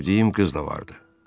Sevdiyim qız da vardı.